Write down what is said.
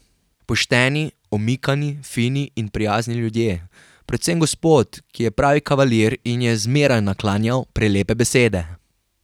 Pošteni, omikani, fini in prijazni ljudje, predvsem gospod, ki je pravi kavalir in ji je zmeraj naklanjal prelepe besede.